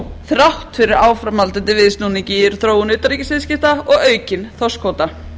þrátt fyrir áframhaldandi viðsnúning í þróun utanríkisviðskipta og aukinn þorskkvóta